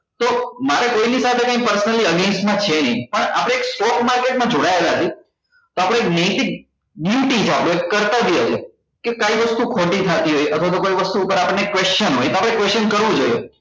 તો મારે કોઈ ની સાથે કઈ personally against માં છે પણ આપડે stock market માં જોડાયેલા છે તો આપડે એક નૈતિક કરતા જ હોય કે કાઈ વસ્તુ ખોટી થતી હોય અથવા તો કોઈ વસ્તુ ઉપર આપણને question હોય તો question આપડે કરવું જોઈએ